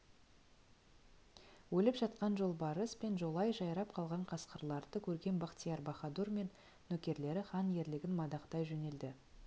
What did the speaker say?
өліп жатқан жолбарыс пен жолай жайрап қалған қасқырларды көрген бахтияр-баһадур мен нөкерлері хан ерлігін мадақтай жөнелді